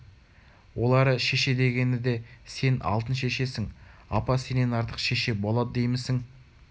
олары шеше дегені де сен алтын шешесің апа сенен артық шеше болады деймісің